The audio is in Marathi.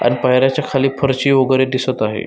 अण पायर्याच्या खाली फरशी वगैरे दिसत आहे.